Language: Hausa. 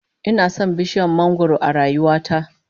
Ina son bishiyar mangwaro a rayuwa ta